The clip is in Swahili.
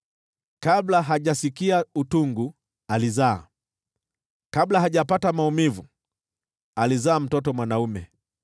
“Kabla hajasikia utungu, alizaa; kabla hajapata maumivu, alizaa mtoto mwanaume.